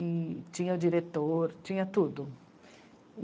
E tinha diretor, tinha tudo.